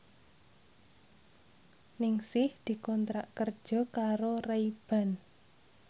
Ningsih dikontrak kerja karo Ray Ban